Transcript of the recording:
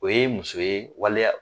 O ye muso ye waleya